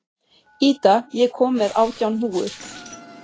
Ída, ég kom með átján húfur!